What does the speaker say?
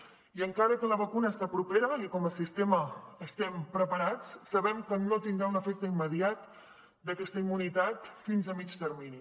i encara que la vacuna està propera i com a sistema estem preparats sabem que no tindrà un efecte immediat d’aquesta immunitat fins a mitjà termini